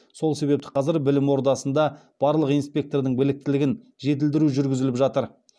сол себепті қазір білім ордасында барлық инспектордың біліктілігін жетілдіру жүргізіліп жатыр